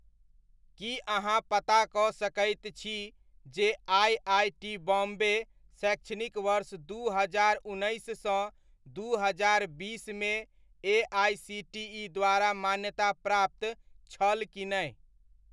की अहाँ पता कऽ सकैत छी जे आइ.आइ.टी बॉम्बे शैक्षणिक वर्ष दू हजार उन्नैस सँ दू हजार बीसमे एआइसीटीइ द्वारा मान्यताप्राप्त छल कि नहि?